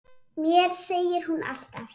Mér segir hún allt